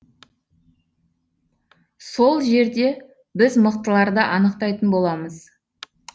сол жерде біз мықтыларды анықтайтын боламыз